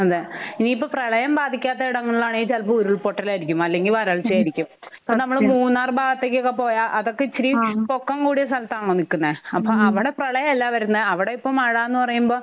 അതെ. ഇനിയിപ്പോ പ്രളയം ബാധിക്കാത്ത ഇടങ്ങളിലാണെങ്കി ചെലപ്പോ ഉരുൾ പൊട്ടലായിരിക്കും അല്ലെങ്കി വരൾച്ചയായിരിക്കും. സത്യം. നമ്മള് മൂന്നാർ ഭാഗത്തേക്കൊക്കെ പോയാൽ അതൊക്കെ ഇച്ചിരി ആഹ് പൊക്കം കൂടിയ സ്ഥലത്താണല്ലോ നിക്കുന്നേ? ഹം അപ്പൊ അവിടെ പ്രളയം അല്ലാ വരുന്നേ. അവിടെ ഇപ്പം മഴാന്നു പറയുമ്പൊ